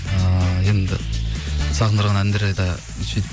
ыыы енді сағындырған әндерді сөйтіп